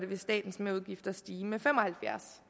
vil statens merudgifter stige med fem og halvfjerds